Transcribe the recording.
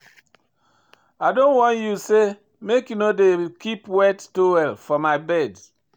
I don warn you sey make you no dey keep wet towel for my bed.